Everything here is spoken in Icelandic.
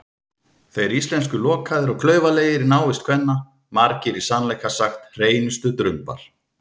Þeir íslensku lokaðir og klaufalegir í návist kvenna, margir í sannleika sagt hreinustu drumbar.